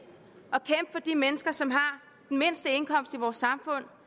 at de mennesker som har den mindste indkomst i vores samfund